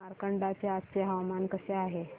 मार्कंडा चे आजचे हवामान कसे आहे